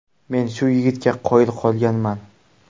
Men shu yigitga qoyil qolganman.